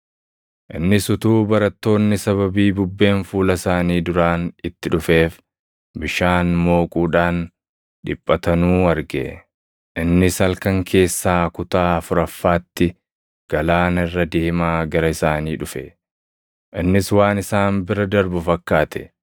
Innis utuu barattoonni sababii bubbeen fuula isaanii duraan itti dhufeef bishaan mooquudhaan dhiphatanuu arge. Innis halkan keessaa kutaa afuraffaatti galaana irra deemaa gara isaanii dhufe. Innis waan isaan bira darbu fakkaate;